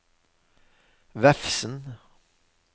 Vefsn